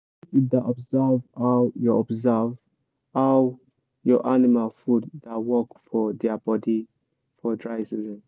make you da observe how your observe how your animal food da work for dia body for dry season